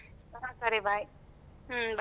ಹ್ಮ ಸರಿ bye .